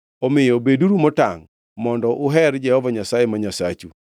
Omiyo beduru motangʼ mondo uher Jehova Nyasaye ma Nyasachu.